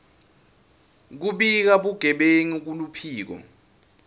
kubika bugebengu kuluphiko